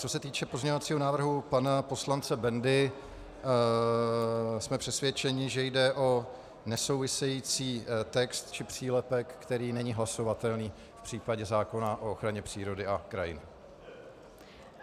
Co se týče pozměňovacího návrhu pana poslance Bendy, jsme přesvědčeni, že jde o nesouvisející text či přílepek, který není hlasovatelný v případě zákona o ochraně přírody a krajiny.